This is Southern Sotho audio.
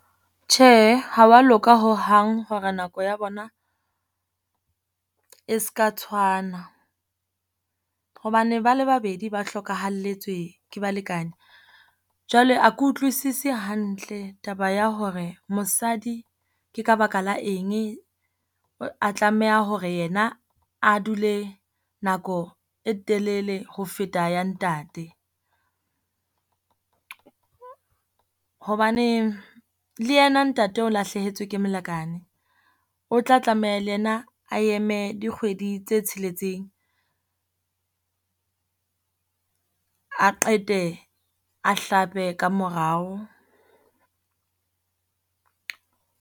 Tjhe, ha wa loka hohang hore nako ya bona e seka tshwana. Hobane ba le babedi ba hlokahalletswe ke balekane. Jwale a ke utlwisisi hantle taba ya hore mosadi ke ka baka la eng a tlameha hore yena a dule nako e telele ho feta ya ntate. Hobane le ena ntate o lahlehetswe ke molekane, o tla tlameha le ena a eme dikgwedi tse tsheletseng, a qete a hlape ka morao.